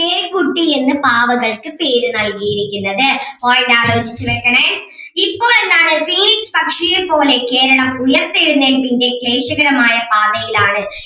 ചെയ്‌ക്കുട്ടി എന്ന് പാവകൾക്ക് പേര് നൽകിയിരിക്കുന്നത്. point ആലോചിച്ച് വെക്കണേ ഇപ്പൊ എന്താണ് phoenix പക്ഷിയെ പോലെ കേരളം ഉയർത്തെഴുന്നേല്പിൻ്റെ ക്ലേശകരമായ പാതയിലാണ്.